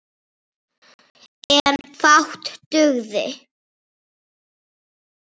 En fátt dugði.